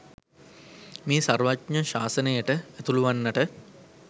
මේ සර්වඥ ශාසනයට ඇතුළුවන්නට